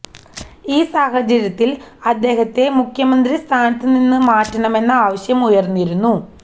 ഈ സാഹചര്യത്തിൽ അദ്ദേഹത്തെ മുഖ്യമന്ത്രി സ്ഥാനത്ത് നിന്ന് മാറ്റണമെന്ന ആവശ്യം ഉയർന്നിരുന്നു